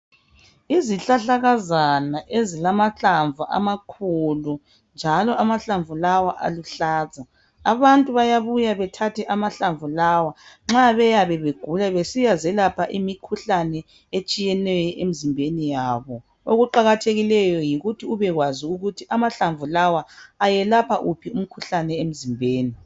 Izihlahlakazana ezilamahlamvu amakhulu njalo amahlamvu lawa aluhlaza. Abantu bayabuya bethathe amahlamvu lawa nxa beyabe begula besiya zelapha imikhuhlane etshiyeneyo emzimbeni yabo. Okuqakathekileyo yikuthi ubekwazi ukuthi amahlamvu lawa ayelapha uphi umkhuhlane emzimbeni.